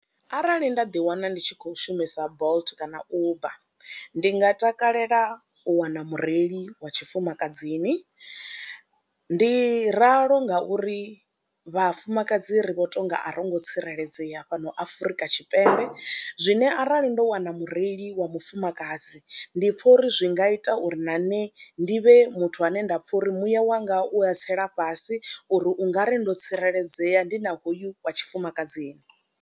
Arali nda ḓiwana ndi tshi khou shumisa Bolt kana Uber ndi nga takalela u wana mureili wa tshifumakadzini ndi ralo ngauri vhafumakadzi ri vho tou nga ro ngo tsireledzea fhano Afrika Tshipembe zwine arali ndo wana mureili wa mufumakadzi ndi pfha uri zwi nga ita uri na nṋe ndi vhe muthu ane nda pfha uri muya wanga u a tsela fhasi uri u nga ri ndo tsireledzea ndi na hoyu wa tshifumakadzini.